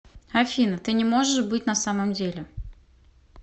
афина ты не можешь быть на самом деле